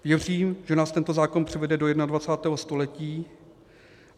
Věřím, že nás tento zákon přivede do 21. století.